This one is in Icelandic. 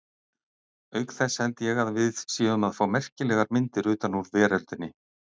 Auk þess held ég að við séum að fá merkilegar myndir utan úr veröldinni.